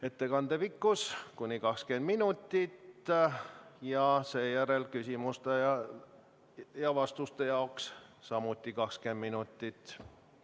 Ettekande pikkus on kuni 20 minutit ning seejärel küsimuste ja vastuste jaoks samuti 20 minutit.